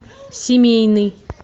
семейный